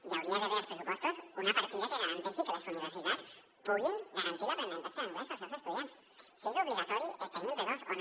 hi hauria d’haver als pressupostos una partida que garanteixi que les universitats puguin garantir l’aprenentatge d’anglès als seus estudiants sigui obligatori tenir el b2 o no